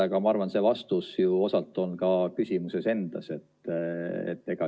Aga ma arvan, et see vastus ju osalt on ka küsimuses endas.